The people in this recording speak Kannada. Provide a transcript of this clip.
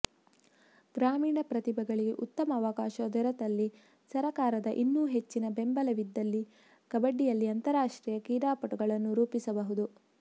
ಗ್ರಾಮೀಣ ಪ್ರತಿಭೆಗಳಿಗೆ ಉತ್ತಮ ಅವಕಾಶ ದೊರೆತಲ್ಲಿ ಸರಕಾರದ ಇನ್ನೂ ಹೆಚ್ಚಿನ ಬೆಂಬಲವಿದ್ದಲ್ಲಿ ಕಬಡ್ಡಿಯಲ್ಲಿ ಅಂತರಾಷ್ಟ್ರೀಯ ಕ್ರೀಡಾಪಟುಗಳನ್ನು ರೂಪಿಸಬಹುದು